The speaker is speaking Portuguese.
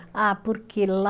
Ah, porque lá